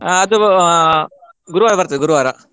ಹಾ ಅದು ಆ ಗುರುವಾರ ಬರ್ತದೆ ಗುರುವಾರ.